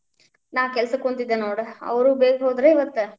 ನಾ ಕೆಲಸಕ್ಕ್ ಕುಂತಿದ್ದೆ ನೋಡ್, ಅವ್ರು ಬೇಗ ಹೋದ್ರ್ ಇವತ್ತ್.